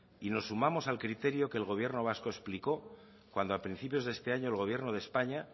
y nos sumamos al criterio que el gobierno vasco explicó cuando a principios de este año el gobierno de españa